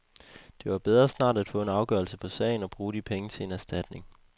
Det var bedre snart at få en afgørelse på sagen og bruge de penge til en erstatning.